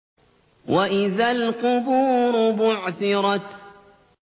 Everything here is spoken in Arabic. وَإِذَا الْقُبُورُ بُعْثِرَتْ